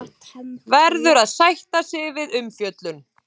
Verður að sætta sig við umfjöllun